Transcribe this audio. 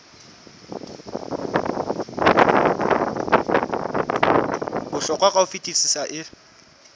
bohlokwa ka ho fetisisa e